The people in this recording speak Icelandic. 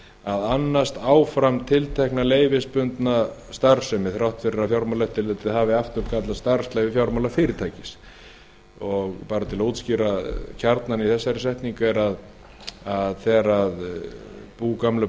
að annast áfram tiltekna leyfisbundna starfsemi þrátt fyrir að fjármálaeftirlitið hafi afturkallað starfsleyfi fjármálafyrirtækis bara til að útskýra kjarnann í þessari setningu er að þegar bú gömlu